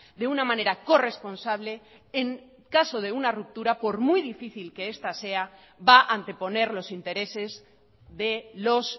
de una manera corresponsable en caso de una ruptura por muy difícil que esta sea va anteponer los intereses de los